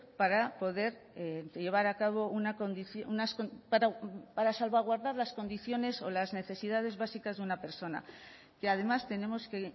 para poder llevar a cabo para salvaguardar las condiciones o las necesidades básicas de una persona que además tenemos que